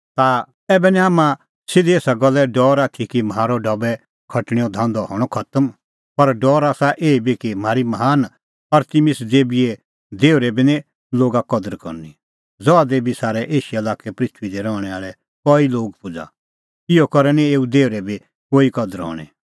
ता ऐबै निं हाम्हां सिधी एसा गल्ले डौर आथी कि म्हारअ ढबै खटणैओ धांधअ हणअ खतम पर डौर आसा एही बी कि म्हारी महान अरतिमिस देबीए देहुरे बी निं लोगा कदर करनी ज़हा देबी सारै एशिया लाक्कै पृथूई दी रहणैं आल़ै कई लोग पूज़ा इहअ करै निं एऊ देहुरे बी कोई कदर हणीं